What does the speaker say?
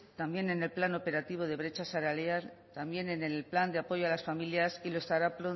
también en el plan operativo de brecha salarial también en el plan de apoyo a las familias y lo estará